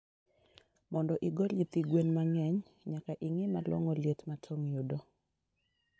Mondo igol nyithi gwen mangeny, nyaka ingii malongo liet ma toong yudo